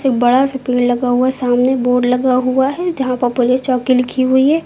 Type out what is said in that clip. एक बड़ा सा पेड़ लगा हुआ है। सामने बोर्ड लगा हुआ हैं जहां प पुलिस चौकी लिखी हुई हैं।